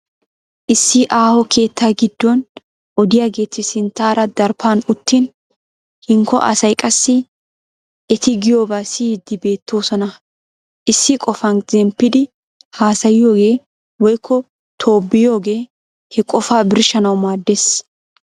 Issi aaho keettaa giddon odiyageeti sinttaaraa daraphan uttin hinkko asay qassi eti giyoobaa siyiiddi beettoosona. Issi qofan zemppidi haasayiyogee woykko tobbiyoogee he qofaa birshshanawu maaddes.